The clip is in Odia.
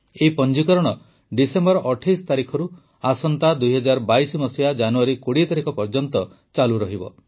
ଏହି ପଞ୍ଜିକରଣ ଡିସେମ୍ବର ୨୮ ତାରିଖରୁ ଜାନୁଆରୀ ମାସ ୨୦ ତାରିଖ ପର୍ଯ୍ୟନ୍ତ ଚାଲିବ